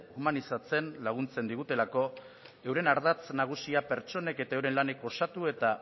humanizatzen laguntzen digutelako euren ardatz nagusia pertsonek eta euren lanek osatu eta